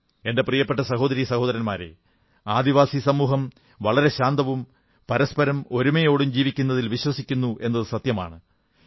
എന്റെ പ്രിയപ്പെട്ട സഹോദരീ സഹോദരന്മാരേ ആദിവാസി സമൂഹം വളരെ ശാന്തവും പരസ്പരം ഒരുമയോടും ജീവിക്കുന്നതിൽ വിശ്വസിക്കുന്നു എന്നതു സത്യമാണ്